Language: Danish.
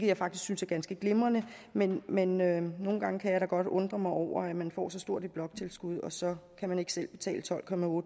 jeg faktisk synes er ganske glimrende men men nogle gange kan jeg godt undre mig over at man får så stort et bloktilskud og så kan man ikke selv betale tolv